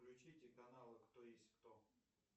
включите каналы кто есть кто